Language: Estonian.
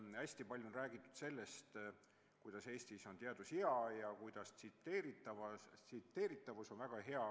Hästi palju on räägitud sellest, et Eestis on teadus heal tasemel ja tsiteeritavus on väga hea.